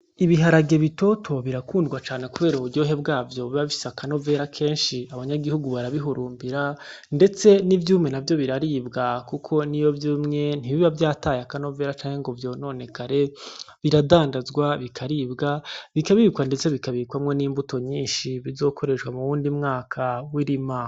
Ibiharage bitoto birakundwa cane kubera uburyohe bwavyo buba bufise akanovera kenshi, abanyagihugu barabihurumbira ndetse n'ivyumye navyo biraribwa, kuko niyo vyumye ntibiba vyataye akanovera canke ngo vyononekare, biradandazwa, bikaribwa, bikabikwa ndetse bikabikwamwo n'imbuto nyinshi bizokoreshwa muwundi mwaka w'irima.